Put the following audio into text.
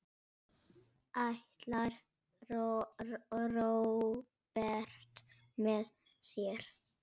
Ætlar Róbert með þér?